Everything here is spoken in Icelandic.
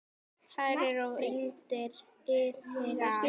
Kælið og nuddið hýðið af.